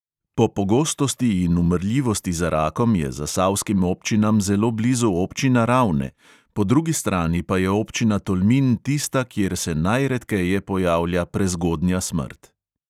Po pogostosti in umrljivosti za rakom je zasavskim občinam zelo blizu občina ravne, po drugi strani pa je občina tolmin tista, kjer se najredkeje pojavlja prezgodnja smrt.